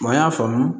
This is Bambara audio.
an y'a faamu